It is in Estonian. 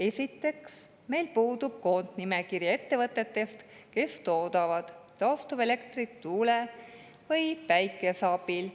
Esiteks, meil puudub koondnimekiri ettevõtetest, kes toodavad taastuvelektrit tuule või päikese abil.